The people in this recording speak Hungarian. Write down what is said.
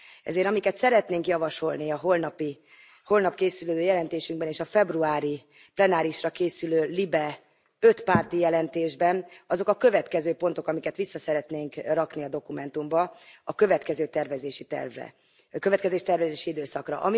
Ezért, amiket szeretnénk javasolni a holnap készülő jelentésünkben és a februári plenárisra készülő LIBE ötpárti jelentésben, azok a következő pontok, amiket vissza szeretnénk rakni a dokumentumba a következő tervezési időszakra.